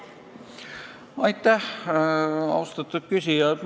Aitäh, austatud küsija!